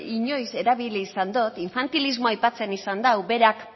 inoiz erabili izan dot infantilismoa aipatzen izan dau berak